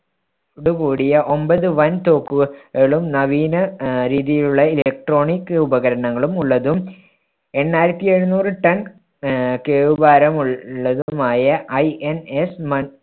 to കൂടിയ ഒൻപത് വൻ തോക്കു~കളും നവീന ആഹ് രീതിയിലുള്ള electronic ഉപകരണങ്ങളും ഉള്ളതും എണ്ണായിരത്തി എഴുനൂറ് ton ആഹ് കേവ് ഭാരമുള്ളതുമായ INS